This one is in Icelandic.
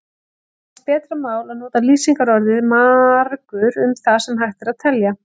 Það telst betra mál að nota lýsingarorðið margur um það sem hægt er að telja.